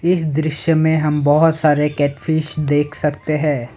इस दृश्य में हम बहोत सारे कैप्यूस देख सकते हैं।